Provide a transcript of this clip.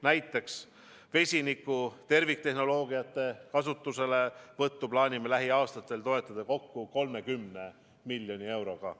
Näiteks vesiniku terviktehnoloogiate kasutuselevõttu plaanime lähiaastatel toetada kokku 30 miljoni euroga.